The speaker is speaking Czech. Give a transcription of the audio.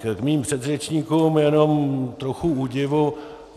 K mým předřečníkům, jenom trochu údivu.